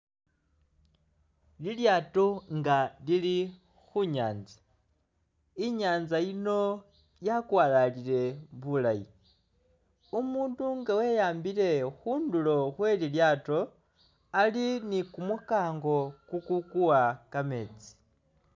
Lilyaato nga lili khu'nyanza, inyanza yiino yakwalalile bulaayi umundu nga we'ambile khundulo khwe lilyaato Ali ni kumunkango kukukuwa kameetsi